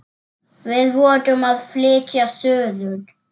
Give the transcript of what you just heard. Við vorum að flytja suður.